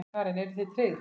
Karen: Eruð þið tryggð?